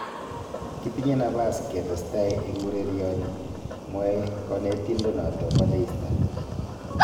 "Kitinye nabas ketestai eng ureryoni", mwae kanetindenoto bo Leicester